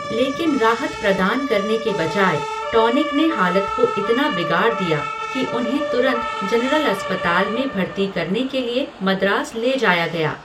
लेकिन राहत प्रदान करने के बजाय, टॉनिक ने हालत को इतना बिगाड़ दिया कि उन्हें तुरंत जनरल अस्पताल में भर्ती करने के लिए मद्रास ले जाया गया।